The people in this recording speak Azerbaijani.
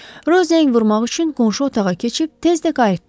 Rö zəng vurmaq üçün qonşu otağa keçib tez də qayıtdı.